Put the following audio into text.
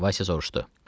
Vayse soruşdu.